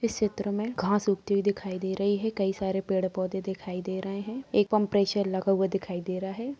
इस चित्र में घास उगती हुए दिखाई दे रही है कई सारे पेड़-पौधे दिखाई दे रहे है एक पंप्रेशर लगा हुआ दिखाई दे रहा है।